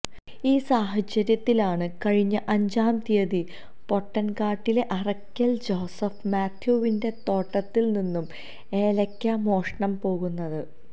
ഈ സാഹചര്യത്തിലാണ് കഴിഞ്ഞ അഞ്ചാം തീയതി പൊട്ടന്കാട്ടിലെ അറയ്ക്കല് ജോസഫ് മാത്യുവിന്റെ തോട്ടത്തില് നിന്നും ഏലയ്ക്കാ മോഷണം പോകുന്നത്